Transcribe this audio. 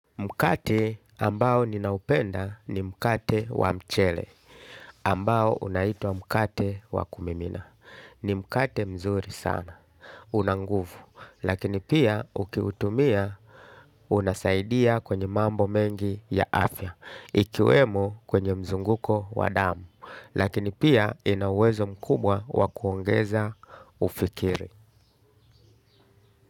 Mkate ambao ninaupenda ni mkate wa mchele. Ambao unaitwa mkate wa kumimina. Ni mkate mzuri sana, una nguvu. Lakini pia ukiutumia unasaidia kwenye mambo mengi ya afya, ikiwemo kwenye mzunguko wa damu, lakini pia ina uwezo mkubwa wakuongeza ufikiri.